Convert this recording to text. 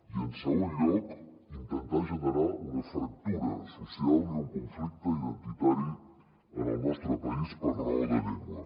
i en segon lloc intentar generar una fractura social i un conflicte identitari en el nostre país per raó de llengua